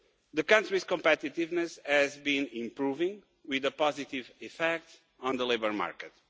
The country's competitiveness has been improving, with a positive effect on the labour market.